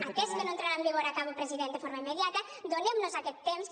atès que no entrarà en vigor acabo president de forma immediata donem nos aquest temps